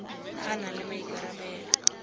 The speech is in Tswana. a a nang le maikarabelo